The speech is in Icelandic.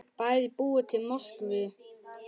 Bæði búa þau í Moskvu.